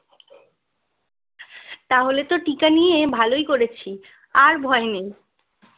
তাহলে টিকা নিয়ে তো ভালোই করেছি আর ভয় নেই